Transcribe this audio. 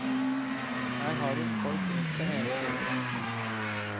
Her har hun folk rundt seg hele tiden.